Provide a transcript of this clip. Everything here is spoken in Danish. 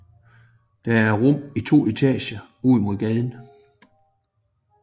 Der er rum i to etager ud mod gaden